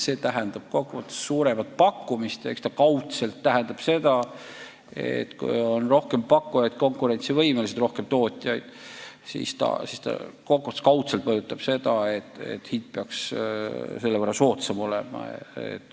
See tähendab suuremat pakkumist ja kaudselt ka seda, et kui on rohkem pakkujaid, konkurentsivõimelisi tootjaid, siis hind peaks selle võrra soodsam olema.